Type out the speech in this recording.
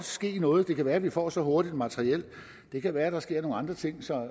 ske noget det kan være at vi får så hurtigt et materiel det kan være at der sker nogle andre ting som